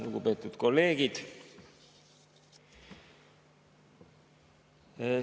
Lugupeetud kolleegid!